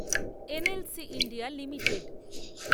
NLC India limited